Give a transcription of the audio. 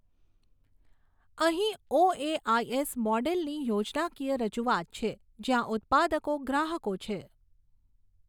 અહીં ઑએઆઇએસ મોડેલની યોજનાકીય રજૂઆત છે જ્યાં ઉત્પાદકો ગ્રાહકો છે.